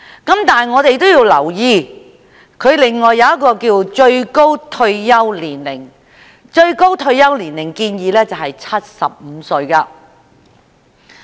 但是，我們要留意另一項建議，亦即把最高退休年齡定為75歲。